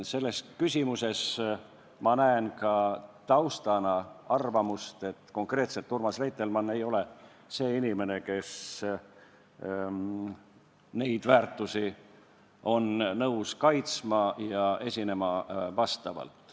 Selle küsimuse taustana näen ma arvamust, et konkreetselt Urmas Reitelmann ei ole see inimene, kes neid väärtusi on nõus kaitsma ja vastavalt esinema.